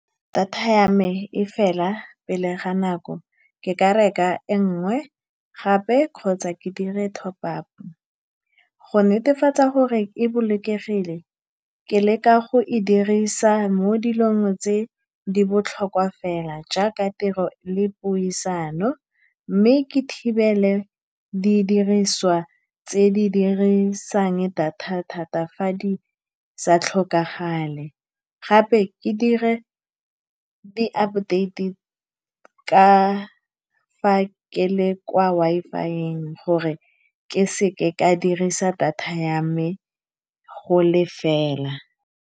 Data ya me e fela pele ga nako. Ke ka reka e nngwe gape kgotsa ke dire top-up go netefatsa gore e bolokegile. Ke leka go e dirisa mo dilong tse di botlhokwa fela, jaaka tiro le puisano, mme ke thibele di diriswa tse di dirisang data thata fa di sa tlhokagale, gape ke dire di-update fa ke le kwa Wi-Fi-eng gore ke seka ka dirisa data ya me go lefela.